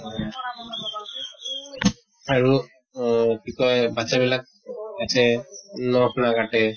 আৰু অহ কি কয় বাচ্ছা বিলাক নখ নাকাটে